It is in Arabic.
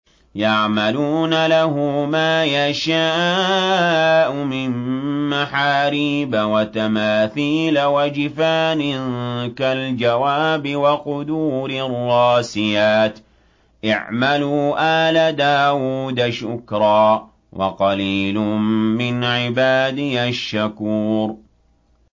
يَعْمَلُونَ لَهُ مَا يَشَاءُ مِن مَّحَارِيبَ وَتَمَاثِيلَ وَجِفَانٍ كَالْجَوَابِ وَقُدُورٍ رَّاسِيَاتٍ ۚ اعْمَلُوا آلَ دَاوُودَ شُكْرًا ۚ وَقَلِيلٌ مِّنْ عِبَادِيَ الشَّكُورُ